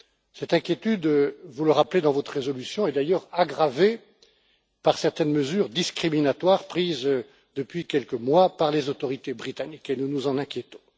Cette inquiétude, vous le rappelez dans votre résolution, est d'ailleurs aggravée par certaines mesures discriminatoires prises depuis quelques mois par les autorités britanniques, et nous nous en inquiétons.